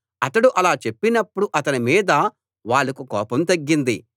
అతడు అలా చెప్పినప్పుడు అతని మీద వాళ్లకు కోపం తగ్గింది